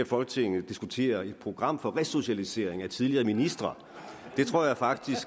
folketinget diskutere et program for resocialisering af tidligere ministre det tror jeg faktisk